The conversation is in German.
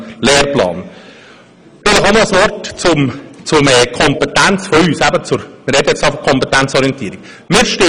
Vielleicht noch ein Wort zu unserer Kompetenz, wenn wir schon von Kompetenzorientierung sprechen.